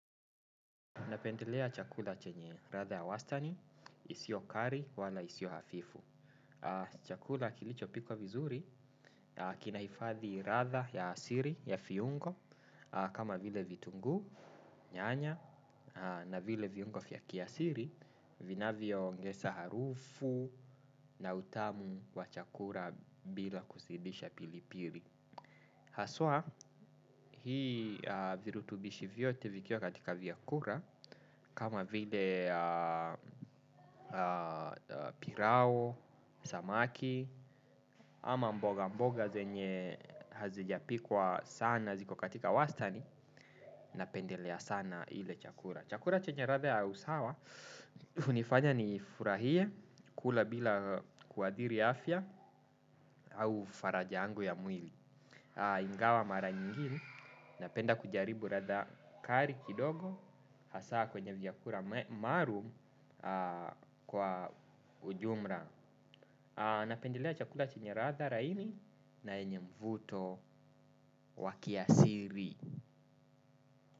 Napendelea chakula chenye, ratha ya wastani, isio kari wala isio hafifu. Chakula kilichopikwa vizuri, kinaifadhi ratha ya siri, ya fiungo, kama vile vitungu, nyanya, na vile viungo vya kiasili, vinavyoongesa harufu na utamu wa chakula bila kuzidisha pilipili. Haswa hii virutubishi vyote vikiwa katika viyakura kama vile pirao, samaki ama mboga mboga zenye hazijapikwa sana ziko katika wastani napendelea sana ile chakura. Chakula chenye ladha ya usawa unifanya nifurahie kula bila kuadhiri afya au faraja angu ya mwili. Ingawa mara nyingine napenda kujaribu ladha kali kidogo hasa kwenye vyakula maalum kwa ujumla. Napendelea chakula chenye ladha laini na yenye mvuto wa kiasili.